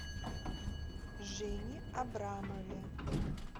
жене абрамове